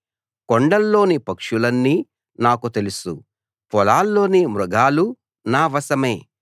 కొండల్లోని పక్షులన్నీ నాకు తెలుసు పొలాల్లోని మృగాలు నా వశమే